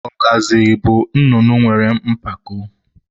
Ọgazị bụ nnụnụ nwere mpako.